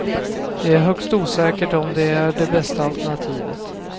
Det är högst osäkert om det är det bästa alternativet.